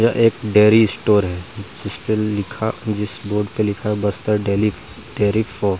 यह एक dairy store है जिसपे लिखा जिस बोर्ड पर लिखा है --